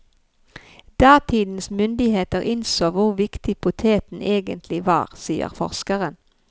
Datidens myndigheter innså hvor viktig poteten egentlig var, sier forskeren.